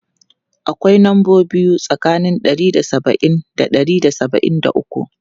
Akwai lambobi biyu tsakanin ɗari da saba'in da ɗari da saba'in da uku.